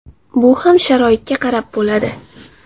Bu ham sharoitga qarab bo‘ladi.